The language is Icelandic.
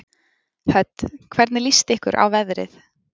Hödd: Hvernig líst ykkur á veðrið?